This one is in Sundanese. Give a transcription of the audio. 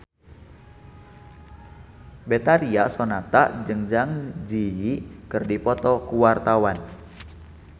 Betharia Sonata jeung Zang Zi Yi keur dipoto ku wartawan